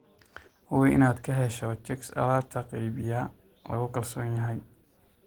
Hubi inaad ka hesho chicks alaab-qeybiye lagu kalsoon yahay.